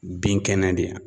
Bin kɛnɛ de